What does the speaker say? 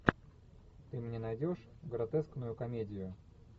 ты мне найдешь гротескную комедию